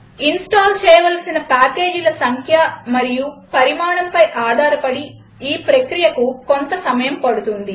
install చేయవలసిన పాకేజీల సంఖ్య మరియు పరిమాణంపై ఆధారపడి ఈ ప్రక్రియకు కొంత సమయం పడుతుంది